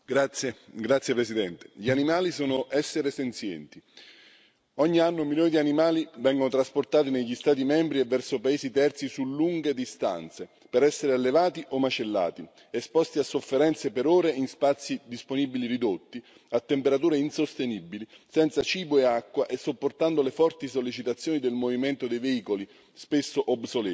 Signor Presidente, onorevoli colleghi, gli animali sono esseri senzienti. Ogni anno milioni di animali vengono trasportati negli Stati membri e verso paesi terzi su lunghe distanze per essere allevati o macellati, esposti a sofferenze per ore in spazi disponibili ridotti, a temperature insostenibili, senza cibo e acqua e sopportando le forti sollecitazioni del movimento dei veicoli, spesso obsoleti.